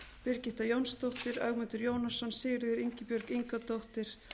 birgitta jónsdóttir ögmundur jónasson sigríður ingibjörg ingadóttir